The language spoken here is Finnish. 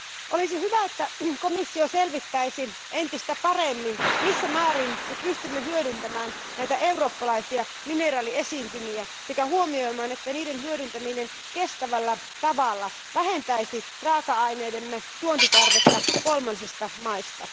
Olisi hyvä, että komissio selvittäisi entistä paremmin, missä määrin me pystymme hyödyntämään näitä eurooppalaisia mineraaliesiintymiä, sekä huomioisi, että niiden hyödyntäminen kestävällä tavalla vähentäisi raaka aineidemme tuontitarvetta kolmansista maista.